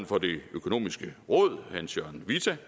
for det økonomiske råd hans jørgen whitta